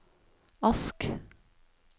Ask